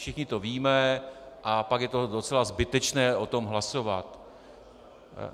Všichni to víme a pak je to docela zbytečné, o tom hlasovat.